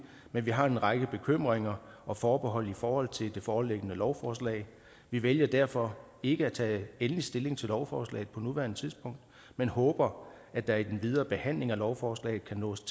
men vi har en række bekymringer og forbehold i forhold til det foreliggende lovforslag vi vælger derfor ikke at tage endelig stilling til lovforslaget på nuværende tidspunkt men håber at der i den videre behandling af lovforslaget kan opnås